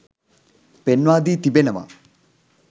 පෙන්වා දී තිබෙනවා.